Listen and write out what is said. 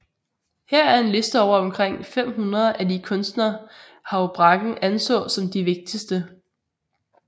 Her er en liste over omkring 500 af de kunstnere Houbraken anså som de vigtigste